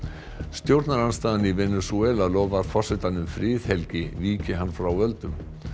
stjórnarandstaðan í Venesúela lofar forsetanum friðhelgi víki hann frá völdum